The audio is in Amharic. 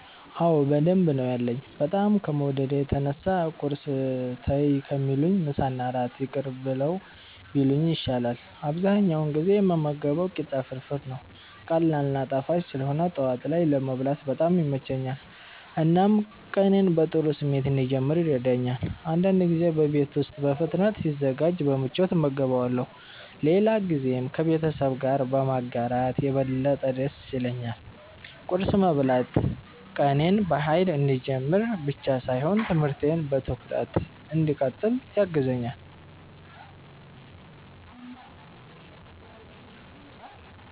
አዎ በደንብ ነው ያለኝ፤ በጣም ከመውደዴ የተነሳ ቁርስ ተይ ከሚሉኝ ምሳና እራት ይቅር ብለው ቢሉኝ ይሻላል። አብዛኛውን ጊዜ የምመገበው ቂጣ ፍርፍር ነው። ቀላል እና ጣፋጭ ስለሆነ ጠዋት ላይ ለመብላት በጣም ይመቸኛል፣ እናም ቀኔን በጥሩ ስሜት እንድጀምር ይረዳኛል። አንዳንድ ጊዜ በቤት ውስጥ በፍጥነት ሲዘጋጅ በምቾት እመገበዋለሁ፣ ሌላ ጊዜም ከቤተሰብ ጋር በማጋራት የበለጠ ደስ ይለኛል። ቁርስ መብላት ቀኔን በኃይል እንድጀምር ብቻ ሳይሆን ትምህርቴን በትኩረት እንድቀጥል ያግዘኛል።